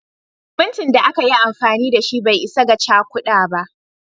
Simintin da aka yi amfani da shi bai isa ga cakuda ba